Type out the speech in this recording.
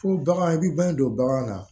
Fo bagan i bɛ bange don bagan na